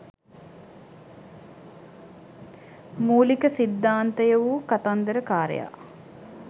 මූලික සිද්ධාන්තය වූ කතන්දර කාරයා